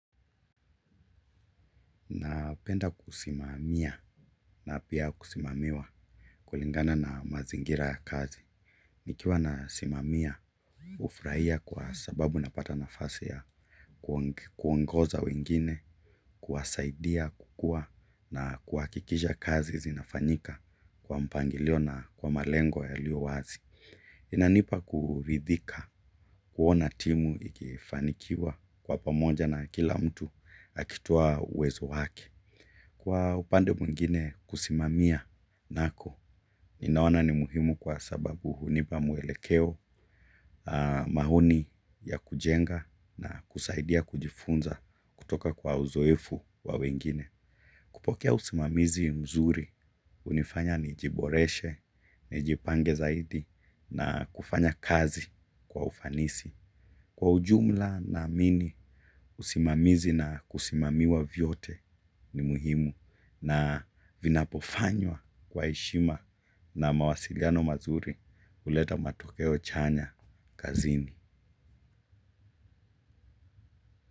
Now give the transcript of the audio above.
Napenda kusimamia na pia kusimamiwa kulingana na mazingira ya kazi. Nikiwa nasimamia, hufurahia kwa sababu napata nafasi ya kuongoza wengine, kuwasaidia, kukua na kuhakikisha kazi zinafanyika kwa mpangilio na kwa malengo yalio wazi. Inanipa kuridhika, kuona timu ikifanikiwa kwa pamoja na kila mtu akitoa uwezo wake. Kwa upande mwingine kusimamia nako, ninaona ni muhimu kwa sababu hunipa mwelekeo maoni ya kujenga na kusaidia kujifunza kutoka kwa uzoefu wa wengine. Kupokea usimamizi mzuri, hunifanya nijiboreshe, nijipange zaidi na kufanya kazi kwa ufanisi. Kwa ujumla naamini usimamizi na kusimamiwa vyote ni muhimu na vinapofanywa kwa heshima na mawasiliano mazuri huleta matokeo chanya kazini.